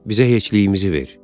Bizə heçliyimizi ver.